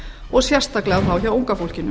og sérstaklega þá hjá unga fólkinu